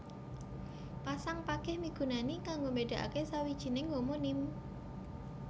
Pasang pageh migunani kanggo mbédakaké sawijining homonim